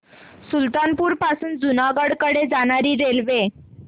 सुल्तानपुर पासून जुनागढ कडे जाणारी रेल्वे